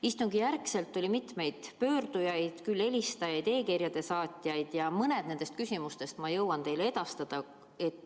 Istungi järel oli mitmeid pöördujaid, küll helistajaid, küll e-kirjade saatjaid, ja mõned nende küsimused ma jõuan teile edastada.